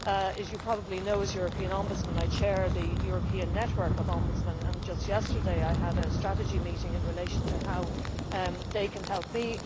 As you probably know, as European Ombudsman, I chair the European Network of Ombudsmen, and just yesterday I had a strategy meeting in relation to how they can help me.